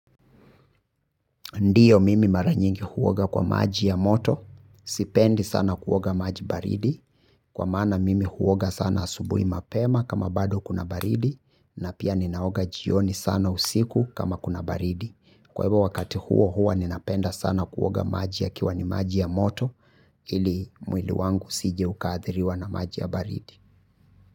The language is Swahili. Ndiyo mimi mara nyingi huoga kwa maji ya moto. Sipendi sana kuoga maji baridi. Kwa maana mimi huoga sana asubuhi mapema kama bado kuna baridi. Na pia ninaoga jioni sana usiku kama kuna baridi. Kwa hivyo wakati huo hua ninapenda sana kuoga maji yakiwa ni maji ya moto. Ili mwili wangu usiji ukaadhiriwa na maji ya baridi.